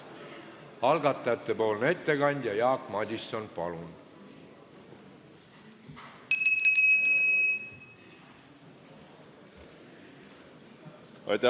Algatajate ettekandja Jaak Madison, palun!